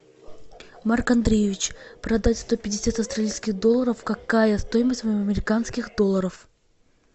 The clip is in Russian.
марк андреевич продать сто пятьдесят австралийских долларов какая стоимость в американских долларах